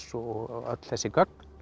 og öll þessi gögn